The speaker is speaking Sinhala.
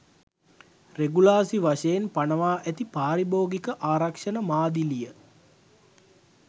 රෙගුලාසි වශයෙන් පනවා ඇති පාරිභෝගික ආරක්ෂණ මාදිලිය.